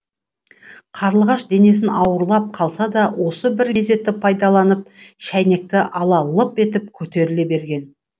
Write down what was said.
қарлығаш денесі ауырлап қалса да осы бір мезетті пайдаланып шәйнекті ала лып етіп көтеріле берген